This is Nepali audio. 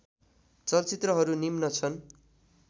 चलचित्रहरू निम्न छन्